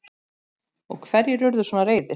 Og hverjir urðu svona reiðir?